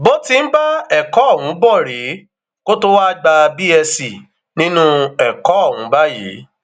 bó ti ń bá ẹkọ ọhún bọ rèé kó tóo wáá gba cs] bsc nínú ẹkọ ọhún báyìí